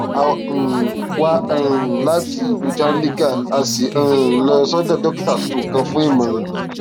a um wá um láti ìlú chandigarh a sì um lọ sọdọ dókítà tuntun kan fún ìmọràn